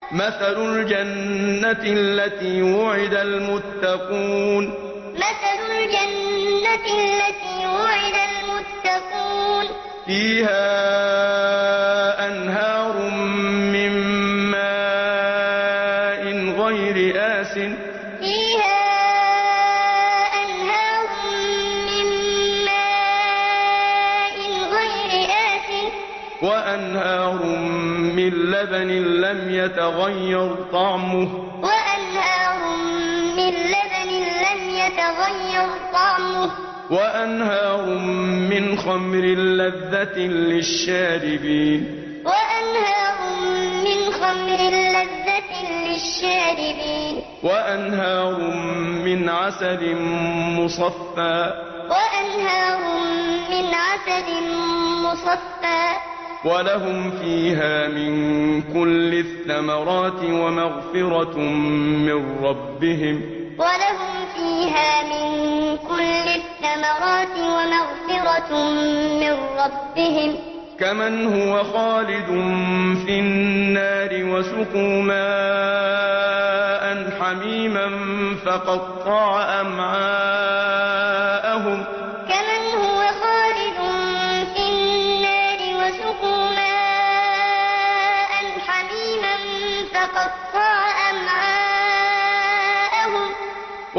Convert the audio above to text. مَّثَلُ الْجَنَّةِ الَّتِي وُعِدَ الْمُتَّقُونَ ۖ فِيهَا أَنْهَارٌ مِّن مَّاءٍ غَيْرِ آسِنٍ وَأَنْهَارٌ مِّن لَّبَنٍ لَّمْ يَتَغَيَّرْ طَعْمُهُ وَأَنْهَارٌ مِّنْ خَمْرٍ لَّذَّةٍ لِّلشَّارِبِينَ وَأَنْهَارٌ مِّنْ عَسَلٍ مُّصَفًّى ۖ وَلَهُمْ فِيهَا مِن كُلِّ الثَّمَرَاتِ وَمَغْفِرَةٌ مِّن رَّبِّهِمْ ۖ كَمَنْ هُوَ خَالِدٌ فِي النَّارِ وَسُقُوا مَاءً حَمِيمًا فَقَطَّعَ أَمْعَاءَهُمْ مَّثَلُ الْجَنَّةِ الَّتِي وُعِدَ الْمُتَّقُونَ ۖ فِيهَا أَنْهَارٌ مِّن مَّاءٍ غَيْرِ آسِنٍ وَأَنْهَارٌ مِّن لَّبَنٍ لَّمْ يَتَغَيَّرْ طَعْمُهُ وَأَنْهَارٌ مِّنْ خَمْرٍ لَّذَّةٍ لِّلشَّارِبِينَ وَأَنْهَارٌ مِّنْ عَسَلٍ مُّصَفًّى ۖ وَلَهُمْ فِيهَا مِن كُلِّ الثَّمَرَاتِ وَمَغْفِرَةٌ مِّن رَّبِّهِمْ ۖ كَمَنْ هُوَ خَالِدٌ فِي النَّارِ وَسُقُوا مَاءً حَمِيمًا فَقَطَّعَ أَمْعَاءَهُمْ